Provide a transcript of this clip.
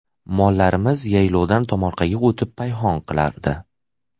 Mollarimiz yaylovdan tomorqaga o‘tib payhon qilardi.